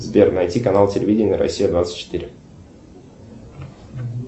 сбер найти канал телевидения россия двадцать четыре